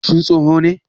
Shin tsoho ne?